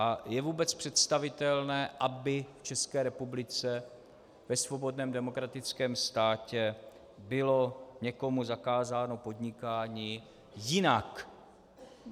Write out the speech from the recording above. A je vůbec představitelné, aby v České republice, ve svobodném demokratickém státě bylo někomu zakázáno podnikání jinak?